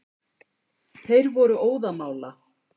Þeir voru óðamála.